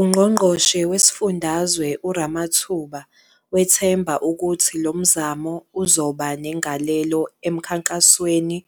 UNgqongqoshe Wesifundazwe uRamathuba wethemba ukuthi lo mzamo uzoba negalelo emkhankasweni